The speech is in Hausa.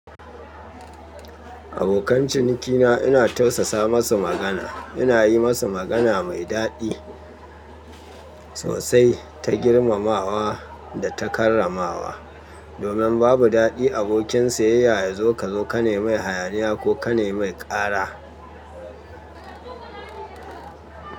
Abokan cinikina ina tausasa masu magana, ina yi masu magana mai daɗi sosai, ta girmamawa da ta karramawa. Domin babu daɗi abokin siyayya ya zo ka zo ka ne mai hayaniya ko ka ne mai ƙara.